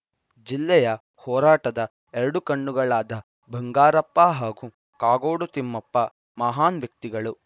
ಜಿಲ್ಲೆಯ ಹೋರಾಟದ ಎರಡು ಕಣ್ಣುಗಳಾದ ಬಂಗಾರಪ್ಪ ಹಾಗೂ ಕಾಗೋಡು ತಿಮ್ಮಪ್ಪ ಮಹಾನ್‌ ವ್ಯಕ್ತಿಗಳು